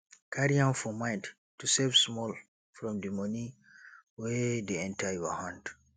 carry am for mind to save small from di money wey dey enter your hand